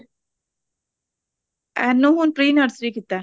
ਇਹਨੇ ਹੁਣ pre nursery ਕੀਤਾ